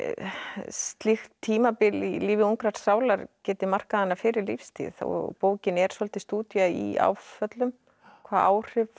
slíkt tímabil í lífi ungrar sálar geti markað hana fyrir lífstíð og bókin er svolítil stúdía í áföllum hvaða áhrif